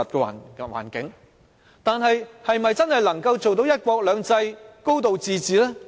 然而，香港是否真的能做到"一國兩制"及"高度自治"呢？